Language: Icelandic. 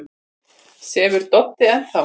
Sefur Doddi enn þá?